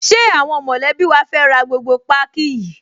Ṣé àwọn mọ̀lẹ́bí wa fẹ́ ra gbogbo páákí yìí?